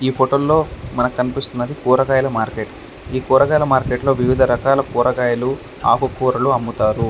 ఈ ఫోటో లో మనకి కనిపిస్తున్నది కూరగాయలు ఈ కూరగాయలు లో మనకి ఆకు కూరలు అమ్ముతారు.